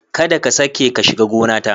Kada ka sake ka shiga gonata!